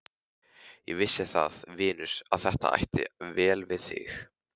Ég vissi það, vinur, að þetta ætti vel við þig.